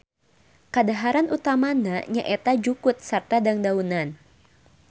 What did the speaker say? Kadaharan utamana nyaeta jukut sarta dangdaunan.